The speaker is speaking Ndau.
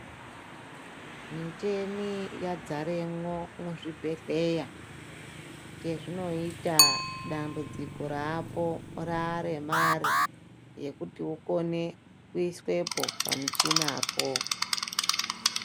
Micheni yadzaremwo mu zvibhedhleya che zvino ita dambudziko rapo rare mare yekuti ukone kuiswepo pa muchina po.